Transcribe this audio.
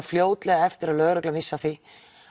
fljótlega eftir að lögreglan vissi af því